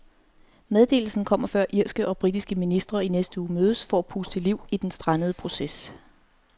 Meddelelsen kommer før irske og britiske ministre i næste uge mødes for at puste liv i den strandede proces.